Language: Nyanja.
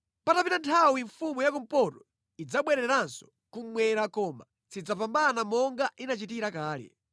“Patapita nthawi mfumu ya kumpoto idzabwereranso kummwera koma sidzapambana monga inachitira kale.